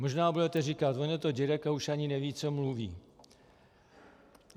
Možná budete říkat: On je to dědek a už ani neví, co mluví.